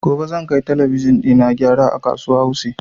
Gobe zan kai talabijin ina gyara a kasuwa wuse